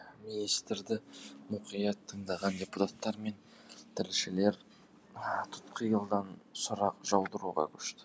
министрді мұқият тыңдаған депутаттар мен тілшілер тұтқиылдан сұрақ жаудыруға көшті